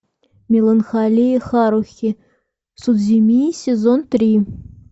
меланхолия харухи судзумии сезон три